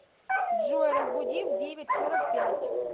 джой разбуди в девять сорок пять